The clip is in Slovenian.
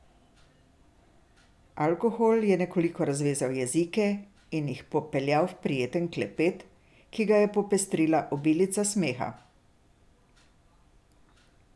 Alkohol je nekoliko razvezal jezike in jih popeljal v prijeten klepet, ki ga je popestrila obilica smeha.